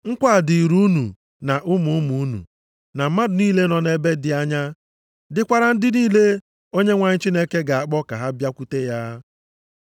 Nkwa a dịrị unu na ụmụ ụmụ unu na mmadụ niile nọ nʼebe dị anya, dịkwara ndị niile Onyenwe anyị Chineke ga-akpọ ka ha bịakwute ya.”